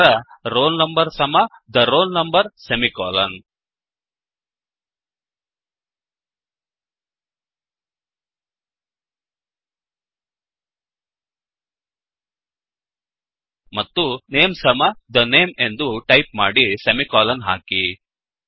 ನಂತರ roll number ಸಮ the roll number semicolon ಮತ್ತು ನೇಮ್ ಸಮ the name ಎಂದು ಟೈಪ್ ಮಾಡಿ ಸೆಮಿಕೋಲನ್ ಹಾಕಿ